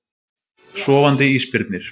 Sofandi ísbirnir.